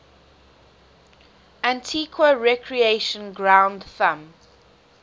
antigua recreation ground thumb